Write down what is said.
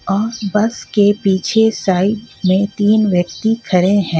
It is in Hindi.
और बस के पीछे साइड मे तीन व्यक्ति खड़े हे.